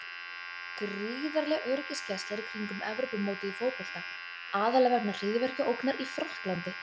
Gríðarleg öryggisgæsla er í kringum Evrópumótið í fótbolta, aðallega vegna hryðjuverkaógnar í Frakklandi.